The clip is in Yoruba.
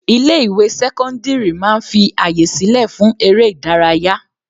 Ilé ìwé sẹ́cọ́ndírì máa ń fi àyè sílẹ̀ fún eré ìdárayá.